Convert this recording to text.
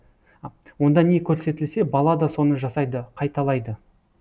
онда не көрсетілсе бала да соны жасайды қайталайды